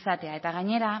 izatea eta gainera